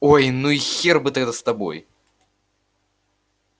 ой ну и хер бы тогда с тобой